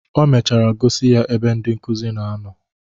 O mechara gosi ya ebe ndị nkuzi na-anọ.